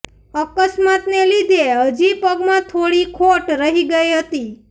અકસ્માતને લીધે હજી પગમાં થોડી ખોડ રહી ગઈ હતી